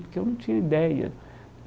Porque eu não tinha ideia.